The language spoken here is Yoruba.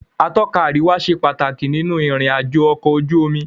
Atọ́ka àríwá ṣe pàtàkì nínú ìrìn àjò ọ̀kọ̀ ojú omi.